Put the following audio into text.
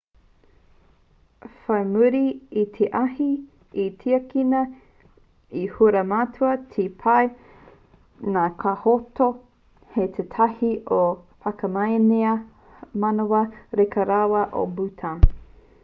whai muri i te ahi i tiakina i haumarutia te pā nā ka noho hei tētahi o ngā whakamanea manawa reka rawa o bhutan